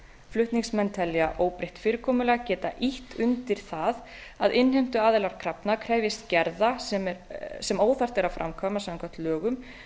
flutningsmenn telja óbreytt fyrirkomulag geta ýtt undir það að innheimtuaðilar krafna krefjist gerða sem óþarft er að framkvæma samkvæmt lögum